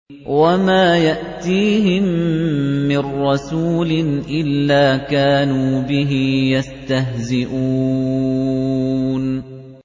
وَمَا يَأْتِيهِم مِّن رَّسُولٍ إِلَّا كَانُوا بِهِ يَسْتَهْزِئُونَ